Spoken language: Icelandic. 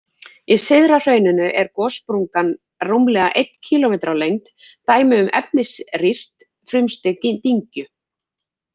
Í syðra hrauninu er gossprungan rúmlega einn kílómetri á lengd, dæmi um efnisrýrt frumstig dyngju.